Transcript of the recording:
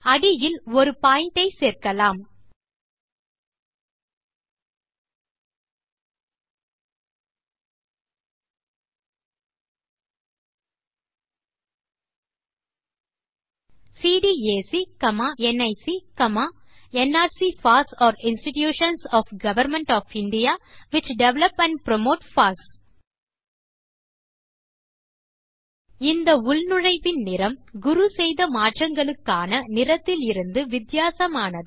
அடியில் ஒரு பாயிண்ட் ஐ சேர்க்கலாம் CDAC NIC nrc FOSS are institutions of government of India which develop and promote FOSS இந்த உள்நுழைவின் நிறம் குரு செய்த மாற்றங்களுக்கான நிறத்திலிருந்து வித்தியாசமானது